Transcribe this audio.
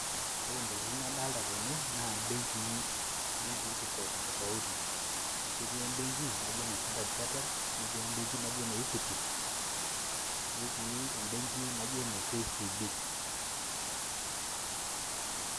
Ore Intokitin nadolita tene naa ebenkii tofauti tofauti amu etii ebenki e standard chartered netii ebenki naji ene Equity netii ebenki naji Kenya commercial Bank